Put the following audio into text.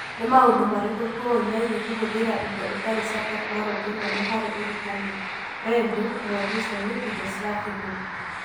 Nĩ maũndũ marĩkũ tũĩ megiĩ kũhũthĩra indo itarĩ cia tekinoronjĩ nene harĩ ũrutani (radio, terebiceni, indo cia thimũ)?